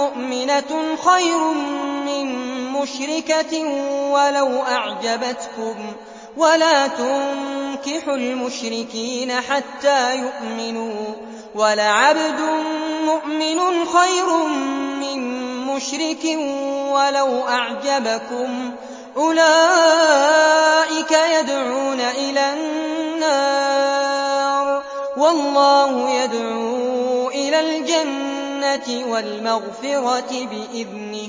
مُّؤْمِنَةٌ خَيْرٌ مِّن مُّشْرِكَةٍ وَلَوْ أَعْجَبَتْكُمْ ۗ وَلَا تُنكِحُوا الْمُشْرِكِينَ حَتَّىٰ يُؤْمِنُوا ۚ وَلَعَبْدٌ مُّؤْمِنٌ خَيْرٌ مِّن مُّشْرِكٍ وَلَوْ أَعْجَبَكُمْ ۗ أُولَٰئِكَ يَدْعُونَ إِلَى النَّارِ ۖ وَاللَّهُ يَدْعُو إِلَى الْجَنَّةِ وَالْمَغْفِرَةِ بِإِذْنِهِ ۖ